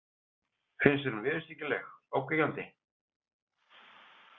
Finnst þér hún viðurstyggileg, ógnvekjandi?